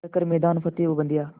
कर हर मैदान फ़तेह ओ बंदेया